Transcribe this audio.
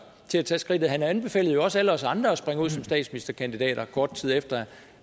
til at tage skridtet han anbefalede også alle os andre at springe ud som statsministerkandidater kort tid efter